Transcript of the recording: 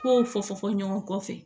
K'o fɔ fɔ ɲɔgɔn kɔfɛ